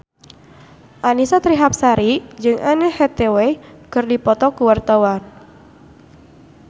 Annisa Trihapsari jeung Anne Hathaway keur dipoto ku wartawan